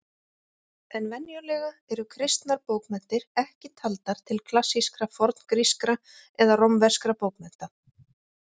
En venjulega eru kristnar bókmenntir ekki taldar til klassískra forngrískra eða rómverskra bókmennta.